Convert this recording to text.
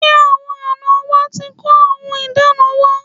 Ṣé àwọn àná wa ti kó ohun ìdána wa?